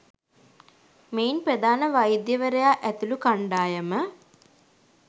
මෙයින් ප්‍රධාන වෛද්‍යවරයා ඇතුළු කණ්ඩායම